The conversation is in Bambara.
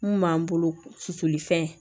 Mun b'an bolo susuli fɛn